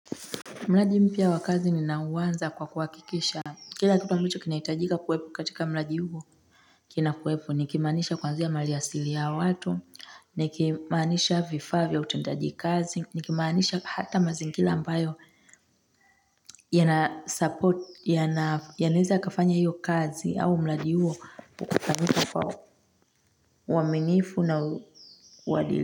Mradi mpya wa kazi nina uanza kwa kuhakikisha, kila kitu ambacho kinahitajika kuwepo katika mradi huo, kina kuwepo nikimaanisha kuanzia mali asili ya watu, nikimaanisha vifaa vya utendaji kazi, nikimaanisha hata mazingira ambayo, yana support, yanaeza yakafanya hiyo kazi au mradi huo ukafanyika kwa uaminifu na uadilifu.